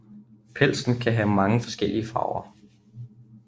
Pelsen kan have mange forskellige farver